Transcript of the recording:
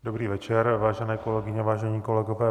Dobrý večer, vážené kolegyně, vážení kolegové.